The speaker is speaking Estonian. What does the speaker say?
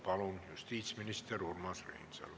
Palun, justiitsminister Urmas Reinsalu!